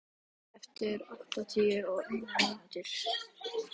Benna, slökktu á þessu eftir áttatíu og eina mínútur.